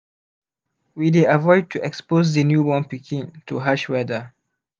we dey avoid to expose the new born pikin to harsh weather